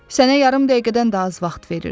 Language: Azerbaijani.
Sənə yarım dəqiqədən də az vaxt verirəm.